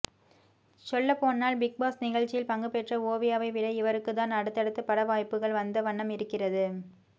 சொல்லப்போனால் big boss நிகழ்ச்சியில் பங்குபெற்ற ஓவியாவை விட இவருக்கு தான் அடுத்தடுத்து பட வாய்ப்புகள் வந்த வண்ணம் இருக்கிறது